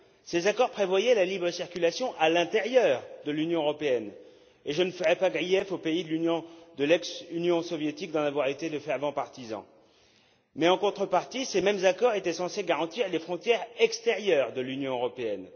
Ces accords prévoyaient la libre circulation à l'intérieur de l'Union européenne et je ne ferai pas grief aux pays de l'ex Union soviétique d'en avoir été de fervents partisans. Mais en contrepartie, ces mêmes accords étaient censés garantir les frontières extérieures de l'Union européenne.